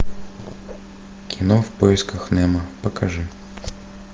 кино в поисках немо покажи